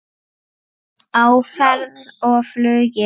Á ferð og flugi